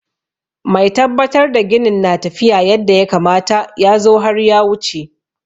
Mai tabbatar da ginin na tafiya yadda ya kamata ya zo har ya wuce.